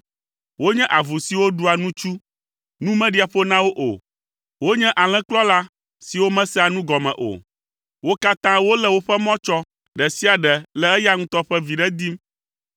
Wonye avu siwo ɖua nutsu; nu meɖia ƒo na wo o. Wonye alẽkplɔla siwo mesea nugɔme o. Wo katã wolé woƒe mɔ tsɔ, ɖe sia ɖe le eya ŋutɔ ƒe viɖe dim.